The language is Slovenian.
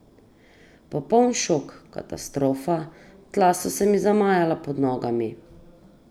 Popoln šok, katastrofa, tla so se mi zamajala pod nogami!